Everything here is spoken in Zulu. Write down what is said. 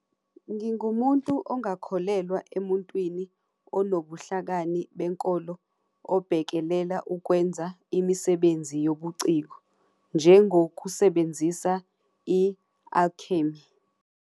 Ngingumuntu ongakholelwa emuntwini onobuhlakani benkolo obhekelela ukwenza imisebenzi yobuciko njengokusebenzisa i-alchemy.